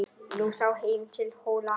Nú sá heim til Hóla.